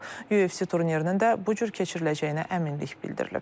UFC turnirinin də bu cür keçiriləcəyinə əminlik bildirilib.